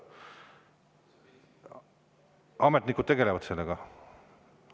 Ametnikud tegelevad sellega.